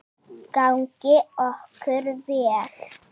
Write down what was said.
Gangi okkur vel.